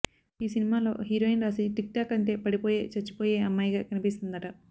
ఈ సినిమాలో heroine Raashi TikTok అంటే పడిపోయే చచ్చిపోయే అమ్మాయిగా కనిపిస్తుందట